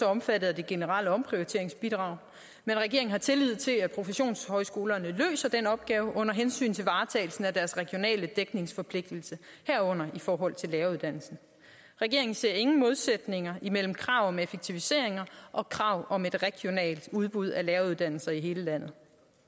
omfattet af det generelle omprioriteringsbidrag men regeringen har tillid til at professionshøjskolerne løser den opgave under hensyn til varetagelsen af deres regionale dækningsforpligtelse herunder i forhold til læreruddannelsen regeringen ser ingen modsætninger imellem krav om effektiviseringer og krav om et regionalt udbud af læreruddannelser i hele landet